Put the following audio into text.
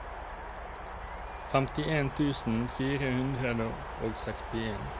femtien tusen fire hundre og sekstien